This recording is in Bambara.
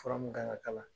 Fura mun kan ka k'a la